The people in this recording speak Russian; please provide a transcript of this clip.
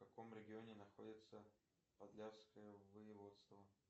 в каком регионе находится подляское воеводство